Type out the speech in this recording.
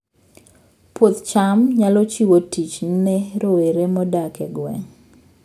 Puoth cham nyalo chiwo tich ne rowere modak e gwenge